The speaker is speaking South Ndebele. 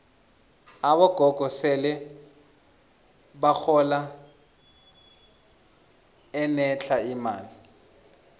abogogo sele bahola enetlha imali